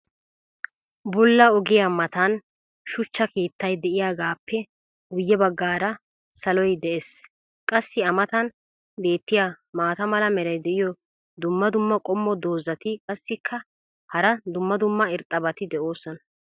bulla ogiyaa matan shuchcha keettaay diyaagaappe guye bagaara saloy des. qassi a matan beetiya maata mala meray diyo dumma dumma qommo dozzati qassikka hara dumma dumma irxxabati doosona.